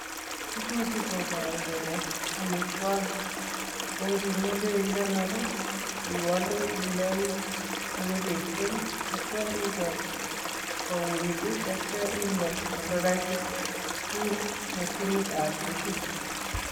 Tukuchu koporu kole amitwokik ako nkimeche ikonor, iwole indei mukepeshek atya iker kouit tatya inde olekaitit ku mashinitap frigit.